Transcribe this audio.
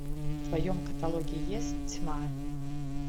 в твоем каталоге есть тьма